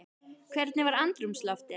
Hvernig var andrúmsloftið?